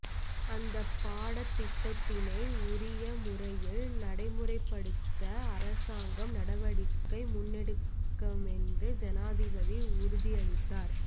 அந்தப்பாடத்திட்டத்த்தினை உரிய முறையில் நடைமுறைப்படுத்த அரசாங்கம் நடவடிக்கை முன்னெடுக்குமென்றும் ஜனாதிபதி உறுதியளித்தார்